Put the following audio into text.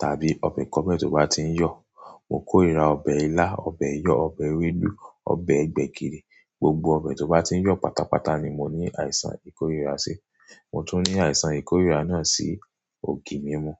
tàbí ọbẹ̀ kọ́bẹ̀ tí ó bá ti ń yọ̀. Mo kórìíra ọbẹ̀ ilá, ọbẹ̀ yọ̀, ọbẹ̀ ewédú, ọbẹ̀ gbẹ̀gìrì, gbogbo ọbẹ̀ tó bá ti ń yọ̀ pátápátá ni mo ní àìsàn ìkórìíra sí. Mo tún ní àìsàn ìkórìíra náà sí ògì mímú.